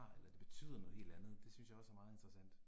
Eller det betyder noget helt andet, det synes jeg også er meget interessant